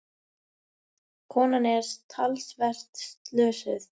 Konan er talsvert slösuð.